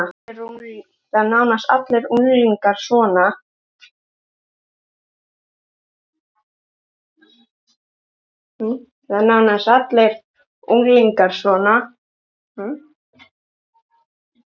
Það eru nánast allir unglingar svona.